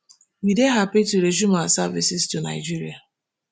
we dey happy to resume our services to nigeria